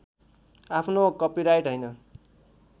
आफ्नो कपिराइट हैन